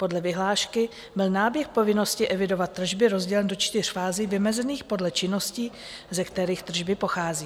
Podle vyhlášky byl náběh povinnosti evidovat tržby rozdělen do čtyř fází vymezených podle činností, ze kterých tržby pochází.